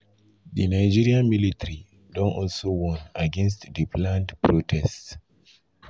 di nigerian militarydon also warn against di planned protest.